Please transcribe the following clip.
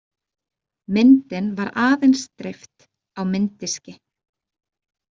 Myndin var aðeins dreift á mynddiski.